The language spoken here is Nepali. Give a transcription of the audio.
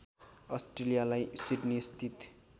अस्ट्रेलियालाई सिडनी स्थित